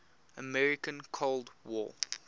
american cold war